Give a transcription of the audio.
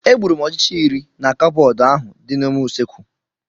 Egburu m ọchịcha iri na cabọọdị ahụ dị n'ime usekwu.